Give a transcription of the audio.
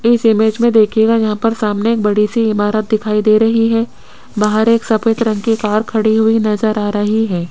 इस इमेज में देखिएगा यहां पर सामने एक बड़ी सी इमारत दिखाई दे रही है बाहर एक सफेद रंग के कार खड़ी हुई नजर आ रही है।